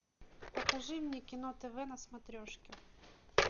покажи мне кино тв на смотрешке